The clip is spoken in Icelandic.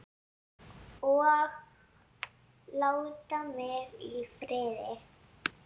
OG LÁTA MIG Í FRIÐI!